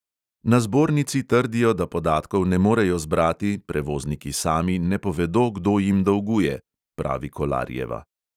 "Na zbornici trdijo, da podatkov ne morejo zbrati, prevozniki sami ne povedo, kdo jim dolguje," pravi kolarjeva.